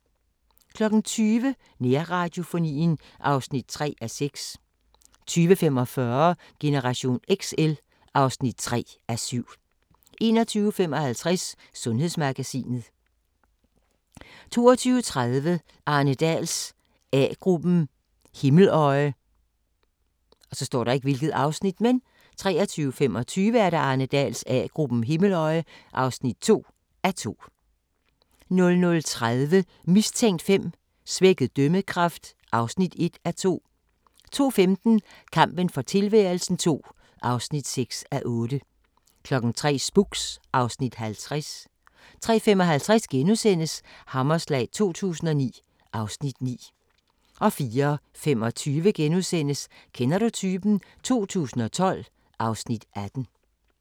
20:00: Nærradiofonien (3:6) 20:45: Generation XL (3:7) 21:55: Sundhedsmagasinet 22:30: Arne Dahls A-gruppen: Himmeløje 23:25: Arne Dahls A-gruppen: Himmeløje (2:2) 00:30: Mistænkt 5: Svækket dømmekraft (1:2) 02:15: Kampen for tilværelsen II (6:8) 03:00: Spooks (Afs. 50) 03:55: Hammerslag 2009 (Afs. 9)* 04:25: Kender du typen? 2012 (Afs. 18)*